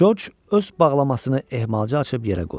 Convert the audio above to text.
Coş öz bağlamasını ehmalca açıb yerə qoydu.